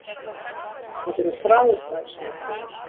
Þetta eru frábær sæti!